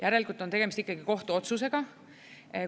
Järelikult on tegemist ikkagi kohtuotsusega.